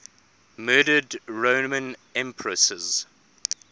murdered roman empresses